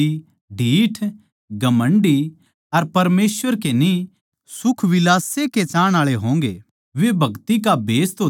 बिश्वासघाती ढ़ीठ घमण्डी अर परमेसवर के न्ही बल्के सुखविलास ए के चाहणआळे होंगे